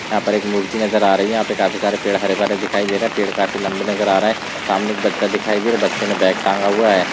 यहा पे एक मूर्ति नजर आ रही है यहा पे काफी सारे पेड़ हरे भरे दिखाई दे रहे हैं पेड़ काफी लम्बे नज़र आ रहे है सामने एक बच्चा दिखाई दे रहा है बच्चे ने बैग टांगा हुआ है।